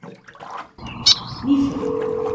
мифы